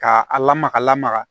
K'a a lamaga a lamaga